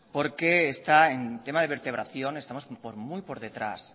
porque está en tema de vertebración estamos muy por detrás